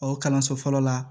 O kalanso fɔlɔ la